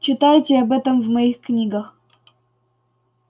читайте об этом в моих книгах